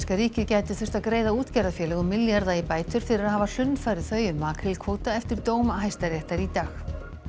ríkið gæti þurft að greiða útgerðarfélögum milljarða í bætur fyrir að hafa hlunnfarið þau um makrílkvóta eftir dóm Hæstaréttar í dag